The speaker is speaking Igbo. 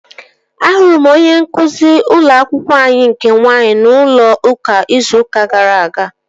Ahụrụ m onyeisi ụlọ akwụkwọ anyị nke nwaanyị n'ụlọ ụka izu gara aga